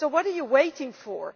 So what are you waiting for?